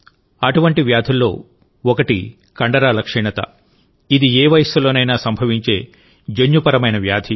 అటువంటి వ్యాధుల్లో ఒకటి కండరాల క్షీణతఇది ఏ వయస్సులోనైనా సంభవించే జన్యుపరమైన వ్యాధి